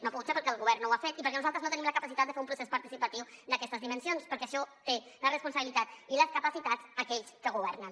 no ha pogut ser perquè el govern no ho ha fet i perquè nosaltres no tenim la capacitat de fer un procés participatiu d’aquestes dimensions perquè per a això tenen la responsabilitat i les capacitats aquells que governen